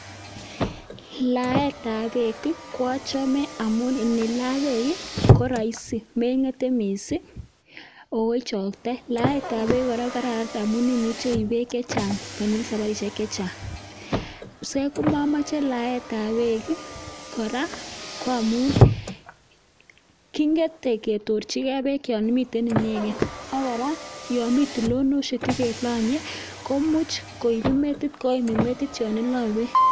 Laet ab beek ko achame amuun nilaa beek ko (rahisi) ako ichaktei ako imuuch ilaa beek chechang. Simochome laet ab beek ko amuun kingete akomuch koimin metit